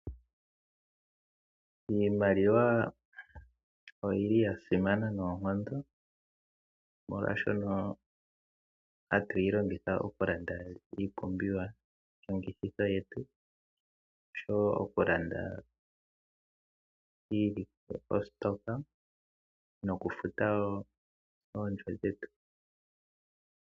Iimaliwa oyili yasimana noonkondo, molwashono hatuyi longitha oku landa iipumbiwa longitho yetu oshowo oku landa ositoka noku futa woo ondjo dhetu.